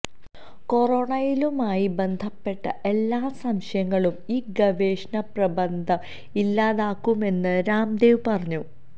കൊറോണിലുമായി ബന്ധപ്പെട്ട എല്ലാ സംശയങ്ങളും ഈ ഗവേഷണ പ്രബന്ധം ഇല്ലാതക്കുമെന്ന് രാംദേവ് പറഞ്ഞു